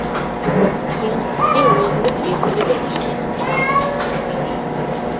кеңістікте өзіндік белгілі бір бейнесін құрайды